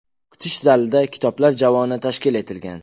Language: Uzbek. Kutish zalida kitoblar javoni tashkil etilgan.